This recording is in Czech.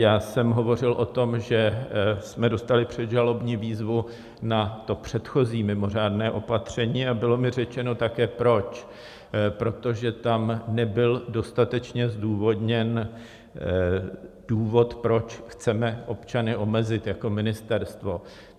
Já jsem hovořil o tom, že jsme dostali předžalobní výzvu na to předchozí mimořádné opatření, a bylo mi řečeno také, proč - protože tam nebyl dostatečně zdůvodněn důvod, proč chceme občany omezit jako ministerstvo.